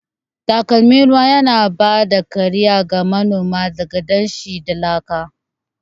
Takalmin ruwan yana ba da kariya ga manoma daga danshi da laka.